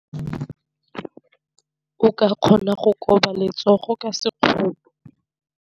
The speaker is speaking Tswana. O ka kgona go koba letsogo ka sekgono.